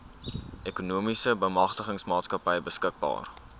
ekonomiese bemagtigingsmaatskappy beskikbaar